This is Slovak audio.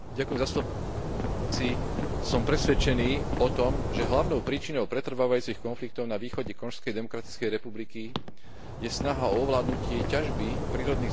Som presvedčený o tom, že hlavnou príčinou pretrvávajúcich konfliktov na východe Konžskej demokratickej republiky je snaha o ovládnutie ťažby prírodných zdrojov nachádzajúcich sa v tejto oblasti.